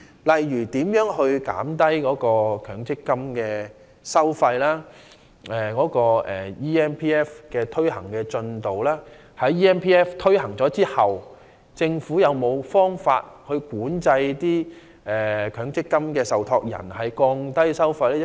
例如，談到降低強積金收費和 eMPF 的推行進度等方面，在推行 eMPF 後，政府有否任何方法強制強積金受託人降低收費呢？